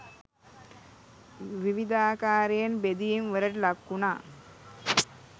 විවිධාකරයෙන් බෙදීම් වලට ලක්වුණා